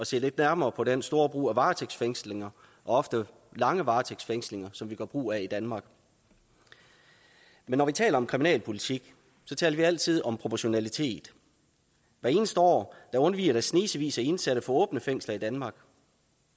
se lidt nærmere på den store brug af varetægtsfængslinger og ofte lange varetægtsfængslinger som vi gør brug af i danmark men når vi taler om kriminalpolitik taler vi altid om proportionalitet hvert eneste år undviger der snesevis af indsatte fra åbne fængsler i danmark